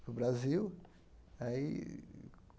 para o Brasil. Aí